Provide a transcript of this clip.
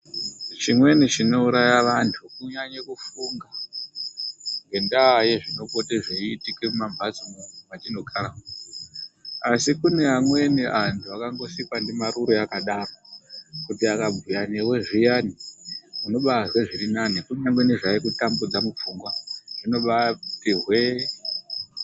Chimweni chinouraya vantu kunyanya kufunga ngendaa yezvinopota zveiutika muma mbatsomwo mwetinogara asi kune amweni antu akangosikwa ndimarure akangodaro kuti akabhuya newe ziyani, kunyangwe nezvaikutambudza mupfungwa zvinobaati hwee.